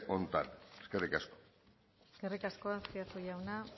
honetan eskerrik asko eskerrik asko azpiazu jauna